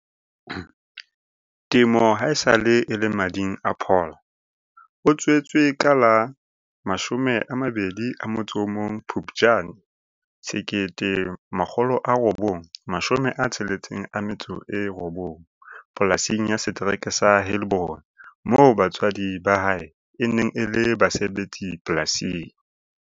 Temo haesale e le mading a Paul. O tswetswe ka la 21 Phupjane 1969 polasing ya setereke sa Heilbron moo batswadi ba hae e neng e le basebetsi polasing.